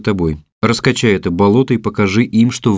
тобой раскачай это болото и покажи им что в